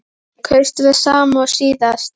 Andri: Kaustu það sama og síðast?